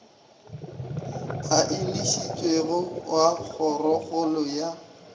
a enišitšwego wa kgorokgolo ya